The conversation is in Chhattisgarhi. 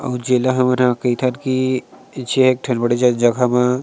आउ जेला हमनहा कईथन कीईई जे एक ठन ज जगह म--